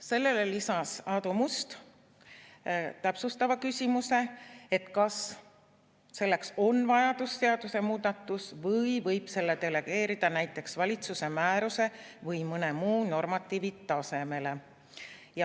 Sellele lisas Aadu Must täpsustava küsimuse, kas selleks on vajalik teha seadusemuudatus või võib selle delegeerida näiteks valitsuse määruse või mõne muu normatiivi tasemele.